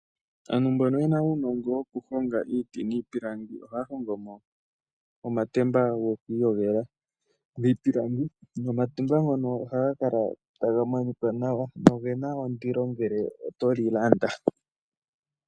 Aantu mbono yena uunongo wokuhonga iiti niipilangi ohaya hongo mo omatemba gokuiyogela miipilangi. Omatemba ngono ohaga kala taga monika nawa noge na indilo ngele oto li landa.